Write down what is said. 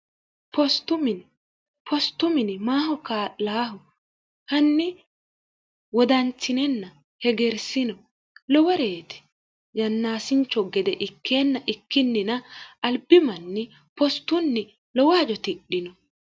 iipostumini maaho kaa'laahu hanni wodanchinenna hegersino loworeeti yannaasincho gede ikkeenna ikkinnina albimanni postunni lowaajo tidhino